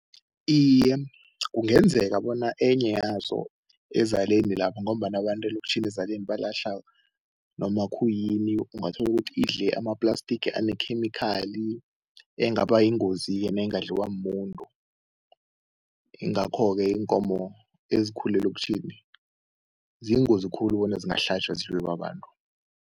Iye, kungenzeka bona enye yazo ezaleni lapha ngombana abantu elokitjhini ezaleni balahla noma khuyini ungathola ukuthi idle ama-plastic ane-chemical engaba yingozi-ke nengadliwa muntu, yingakho-ke iinkomo ezikhule elokitjhini ziyingozi khulu bona zingahlatjwa zidliwe babantu.